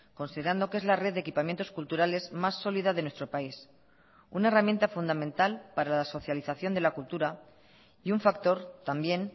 considerando que es la red de equipamientos culturales más sólida de nuestro país una herramienta fundamental para la socialización de la cultura y un factor también